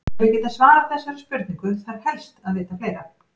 Til að geta svarað þessari spurningu þarf helst að vita fleira.